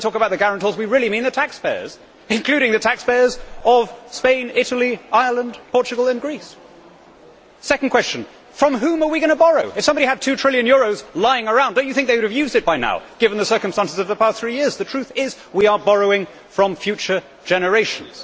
So when we talk about the guarantors, we really mean the taxpayers, including the taxpayers of Spain, Italy, Ireland, Portugal and Greece. Second question From whom are we going to borrow? If somebody had two trillion euros lying around do you not think they would have used it by now, given the circumstances of the past three years? The truth is we are borrowing from future generations.